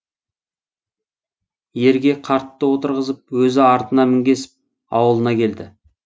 ерге қартты отырғызып өзі артына мінгесіп ауылына келді